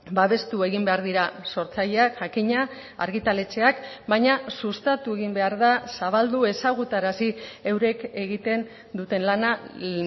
babestu egin behar dira sortzaileak jakina argitaletxeak baina sustatu egin behar da zabaldu ezagutarazi eurek egiten duten lana